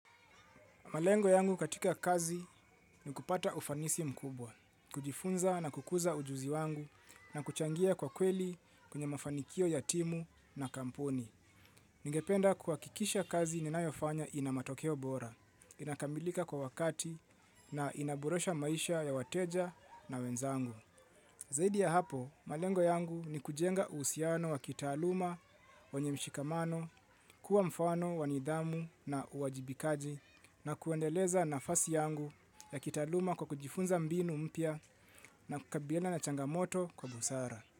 Malengo yangu katika kazi ni kupata ufanisi mkubwa, kujifunza na kukuza ujuzi wangu na kuchangia kwa kweli kwenye mafanikio ya timu na kampuni. Ningependa kuwakikisha kazi ninayofanya ina matokeo bora, inakamilika kwa wakati na inaboresha maisha ya wateja na wenzangu. Zaidi ya hapo, malengo yangu ni kujenga uhusiano wa kitaaluma, wenye mshikamano, kuwa mfano, wa nidhamu na uwajibikaji na kuendeleza nafasi yangu ya kitaaluma kwa kujifunza mbinu mpya na kukabiliana na changamoto kwa busara.